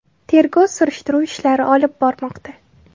Tergov-surishtiruv ishlari olib bormoqda.